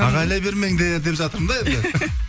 ағайламай бермеңдер деп жатырмын да енді